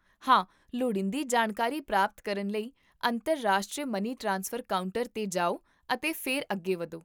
ਹਾਂ, ਲੋੜੀਂਦੀ ਜਾਣਕਾਰੀ ਪ੍ਰਾਪਤ ਕਰਨ ਲਈ ਅੰਤਰਰਾਸ਼ਟਰੀ ਮਨੀ ਟ੍ਰਾਂਸਫਰ ਕਾਊਂਟਰ 'ਤੇ ਜਾਓ ਅਤੇ ਫਿਰ ਅੱਗੇ ਵਧੋ